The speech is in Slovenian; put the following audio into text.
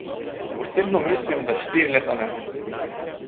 Osebno mislim, da štiri leta ne.